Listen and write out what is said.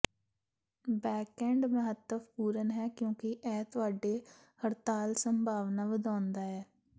backend ਮਹੱਤਵਪੂਰਨ ਹੈ ਕਿਉਂਕਿ ਇਹ ਤੁਹਾਡੀ ਹੜਤਾਲ ਸੰਭਾਵਨਾ ਵਧਾਉਂਦਾ ਹੈ